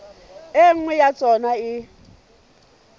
e nngwe ya tsona e